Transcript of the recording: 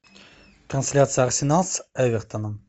трансляция арсенал с эвертоном